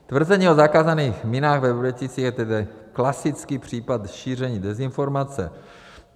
Tvrzení o zakázaných minách ve Vrběticích je tedy klasický případ šíření dezinformace.